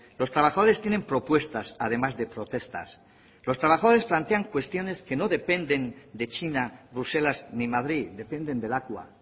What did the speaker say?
los trabajadores tienen propuestas además de protestas los trabajadores plantean cuestiones que no dependen de china bruselas ni madrid dependen de lakua